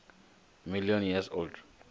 million years old